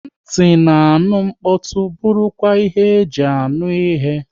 Nti na-aṅụ mkpọtụ bụrụ kwa ihe e ji anụ ihe